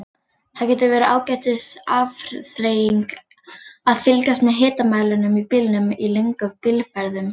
Það getur verið ágætis afþreying að fylgjast með hitamælinum í bílnum í löngum bílferðum.